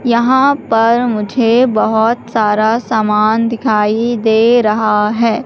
यहां पर मुझे बहोत सारा सामान दिखाई दे रहा है।